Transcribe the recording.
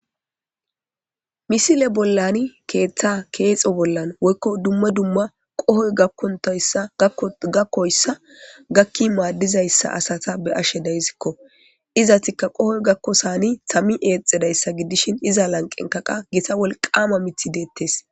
Misile bollan keetha kexi bolla woyko Dumma dumma qohoy gakoysa gakin madiza asata be'ashe daysko , izetika qohoy gakosan tamiyi exidaysa gidishn iza lanqenka qas Gita wolqama mithy detes.